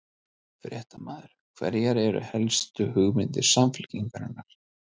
Fréttamaður: Hverjar eru helstu hugmyndir Samfylkingarinnar?